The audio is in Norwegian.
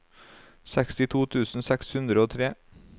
sekstito tusen seks hundre og tre